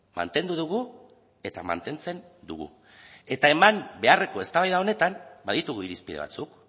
mantendu dugu eta mantentzen dugu eta eman beharreko eztabaida honetan baditugu irizpide batzuk